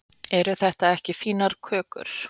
eru þetta ekki fínar kökur